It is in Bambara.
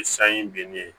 Ni san in be ne ye